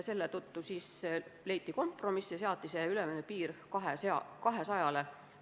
Seetõttu leiti kompromiss ja seati ülemine piir 200 peale.